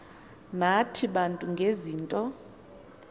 nathi bantu ngezinto